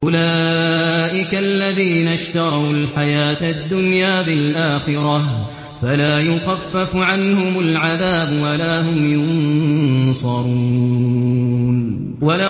أُولَٰئِكَ الَّذِينَ اشْتَرَوُا الْحَيَاةَ الدُّنْيَا بِالْآخِرَةِ ۖ فَلَا يُخَفَّفُ عَنْهُمُ الْعَذَابُ وَلَا هُمْ يُنصَرُونَ